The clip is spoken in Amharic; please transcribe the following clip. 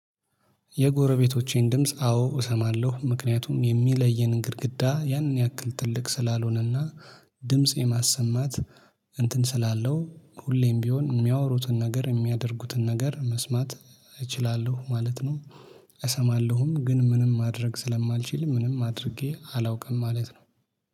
የጎረቤቶቼን ድምጽ አዎ እሰማለሁ። ምክንያቱም የሚለየንን ግድግዳ ያንን ያክል ትልቅ ስላልሆነና ድምጽ የማሰማት እንትን ስላለው ሁሌም ቢሆን የሚያወሩትን ነገር የሚያደርጉትን ነገር መስማት እችላለሁ ማለት ነው። እሰማለሁም ግን ምንም ማድረግ ስለማልችል ምንም አድርጌ አላውቅም ማለት ነው።